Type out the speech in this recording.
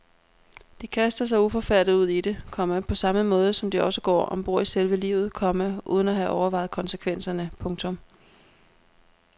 De kaster sig uforfærdet ud i det, komma på samme måde som de også går om bord i selve livet, komma uden at have overvejet konsekvenserne. punktum